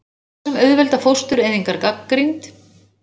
Lög sem auðvelda fóstureyðingar gagnrýnd